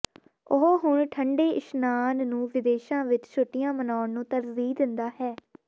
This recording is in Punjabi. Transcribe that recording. ਉਹ ਹੁਣ ਠੰਡੇ ਇਸ਼ਨਾਨ ਨੂੰ ਵਿਦੇਸ਼ਾਂ ਵਿੱਚ ਛੁੱਟੀਆਂ ਮਨਾਉਣ ਨੂੰ ਤਰਜੀਹ ਦਿੰਦਾ ਹੈ